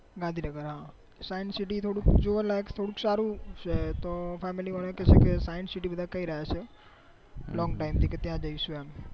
Gandhinagar science city થોડુક જોવાલાયક સારું છે તો family વાળા કે છે કે science city બધા કઈ રહ્યા છે longtime થી કે ત્યાં જૈસુ એમ ગાંધીનગર હા